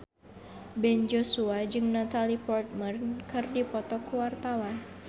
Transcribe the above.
Ben Joshua jeung Natalie Portman keur dipoto ku wartawan